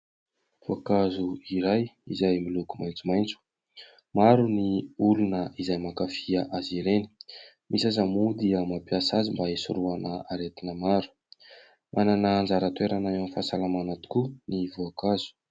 Voankazo iray izay miloko maitsomaitso, maro ny olona izay mankafy azy ireny, misy aza moa dia mampiasa azy mba hisorohana aretina maro, manana anjara toerana eo amin'ny fahasalamana tokoa ny voankazo.